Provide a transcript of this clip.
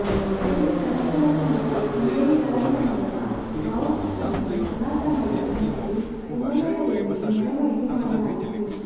ಬೆಳಿಗ್ಗೆ ಕನಕದಾಸ ಮತ್ತು ಸಂಗೊಳ್ಳಿ ರಾಯಣ್ಣನವರ ಭಾವಚಿತ್ರವನ್ನು ಕಲಾತಂಡಗಳು ಮತ್ತು ಕುಂಭಮೇಳದೊಂದಿಗೆ ಮೆರವಣಿಗೆ ಮಾಡಲಾಯಿತು